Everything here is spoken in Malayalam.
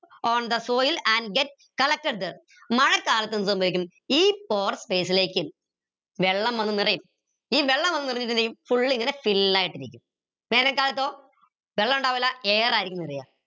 on the soil and get collected there മഴക്കാലത്ത് എന്ത് സംഭവിക്കും ഈ pore space ലേക്ക് വെള്ളം വന്നു നിറയും ഈ വെള്ളം വന്നു നിറഞ്ഞതിന്റെയും full ഇങ്ങനെ still ആയിട്ടിരിക്കും വേനൽക്കാലത്തോ വെള്ളമുണ്ടാവില്ല air ആയിരിക്കും നിറയ